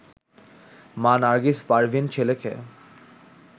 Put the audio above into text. মা নার্গিস পারভীন ছেলেকে